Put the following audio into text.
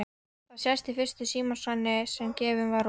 Það sést í fyrstu símaskránni sem gefin var út fyrir